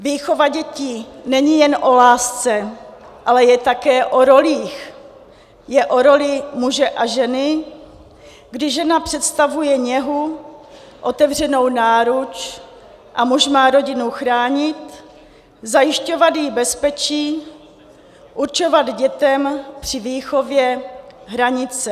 Výchova dětí není jen o lásce, ale je také o rolích, je o roli muže a ženy, kdy žena představuje něhu, otevřenou náruč a muž má rodinu chránit, zajišťovat jí bezpečí, určovat dětem při výchově hranice.